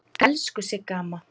Elsku Sigga amma.